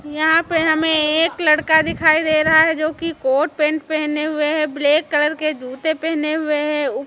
यहां पर हमें एक लड़का दिखाई दे रहा है जो कि कोट पैंट पहने हुए है ब्लैक कलर के जूते पहने हुए है।